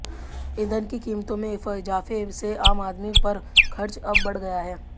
ईंधन की कीमतों में इजाफे से आम आदमी पर खर्च अब बढ़ गया है